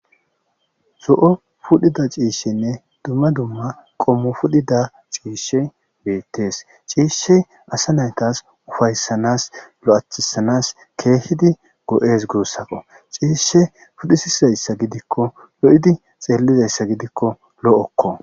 zo7o pudhida ciishenne dumma dumma qommo fudhida ciishshe beettees ciishshey asa naytas ufayssanas lo7atcthisanas keehidi go7es guussaqo ciishe pudhisizayssa gidikko lo7idi xeelizayssa gidikko lo7okko